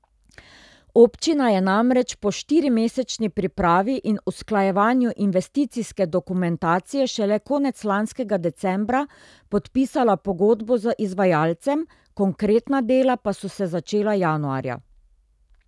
Občina je namreč po štirimesečni pripravi in usklajevanju investicijske dokumentacije šele konec lanskega decembra podpisala pogodbo z izvajalcem, konkretna dela pa so se začela januarja.